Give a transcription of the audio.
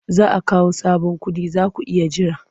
Za a kawo sabon kuɗi za ku iya jira.